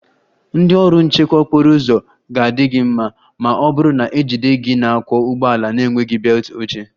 Ndị ọrụ nchekwa okporo ụzọ ga-adị gị mma, ma ọ bụrụ na ejide gị na-akwọ ụgbọala na-enweghị belt oche